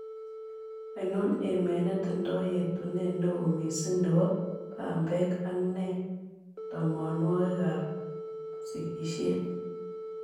Ainon emet netindo yeetuneet neo miising' ne po baambeek ak nee toomoonwogikap sikiisyet